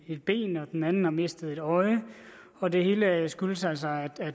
et ben og en anden har mistet et øje og det hele skyldes altså at